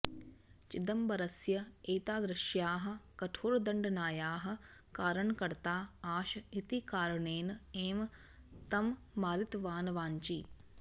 चिदंबरस्य एतादृश्याः कठोरदण्डनायाः कारणकर्ता आश् इति कारणेन एव तं मारितवान् वाञ्ची